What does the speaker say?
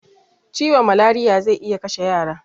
Ciwon malariya zai iya kashe yara